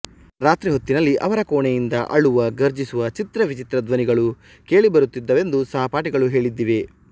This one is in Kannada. ರಾತ್ರಿಹೊತ್ತಿನಲ್ಲಿ ಅವರ ಕೋಣೆಯಿಂದ ಅಳುವ ಗರ್ಜಿಸುವ ಚಿತ್ರವಿಚಿತ್ರ ಧ್ವನಿಗಳು ಕೇಳಿಬರುತ್ತಿದ್ದವೆಂದು ಸಹಪಾಠಿಗಳು ಹೇಳಿದ್ದಿದೆ